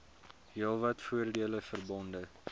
heelwat voordele verbonde